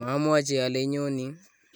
mamwochi ale inyoni